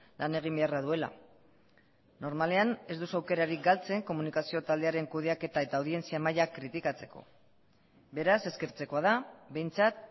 lan egin beharra duela normalean ez duzu aukerarik galtzen komunikazio taldearen kudeaketa eta audientzia maila kritikatzeko beraz eskertzekoa da behintzat